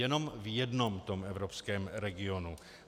Jenom v jednom tom evropském regionu.